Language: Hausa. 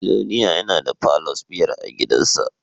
Biloniya yana da palours biyar a gidansa